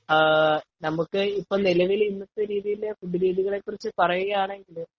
നമുക്കു ഇപ്പോൾ നിലവില് ഇവിടുത്തെ രീതികളെ കുറിച്ച് പറയുവാണെങ്കിൽ ,